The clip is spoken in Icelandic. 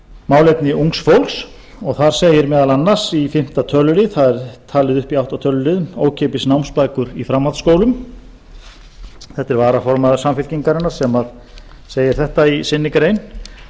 málefni ungs fólks og þar segir meðal annars í fimmta tölulið þar er talið upp í átta töluliðum ókeypis námsbækur í framhaldsskólum þetta er varaformaður samfylkingarinnar sem segir þetta í sinni grein